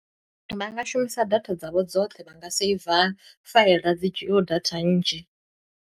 Vha nga shumisa data dzavho dzoṱhe vha nga seiva faila dzi dzhiyiho data nnzhi.